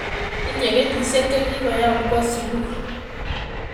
Tinyei kenyishiek chekigoyam kowo sugul